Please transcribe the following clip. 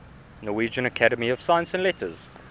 norwegian academy of science and letters